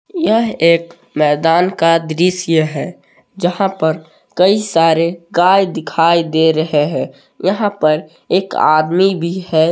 यह एक मैदान का दृश्य है जहां पर कई सारे गाय दिखाई दे रहे हैं यहां पर एक आदमी भी है।